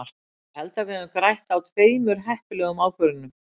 Ég held að við höfum grætt á tveimur heppilegum ákvörðunum.